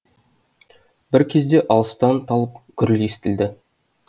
бір кезде алыстан талып гүріл естілді